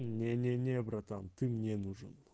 не не не братан ты мне нужен